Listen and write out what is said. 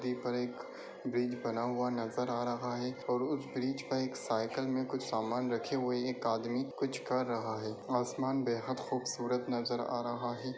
यहाँ पर एक ब्रिज बना नजर आ रहा है और उस ब्रिज पे एक साइकिल में कुछ समान रखे हुए एक आदमी कुछ कर रहा है। आसमान बेहद खूबसूरत नज़र आ रहा है।